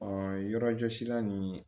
yɔrɔjɔsi la nin